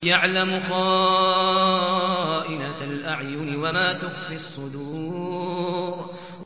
يَعْلَمُ خَائِنَةَ الْأَعْيُنِ وَمَا تُخْفِي الصُّدُورُ